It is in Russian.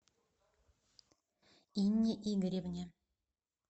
инне игоревне